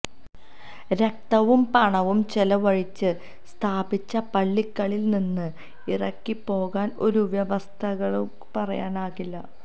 രക്തവും പണവും ചെലവഴിച്ച് സ്ഥാപിച്ച പള്ളികളില്നിന്ന് ഇറങ്ങിപ്പോകാന് ഒരു വ്യവസ്ഥിതിക്കും പറയാനാകില്ല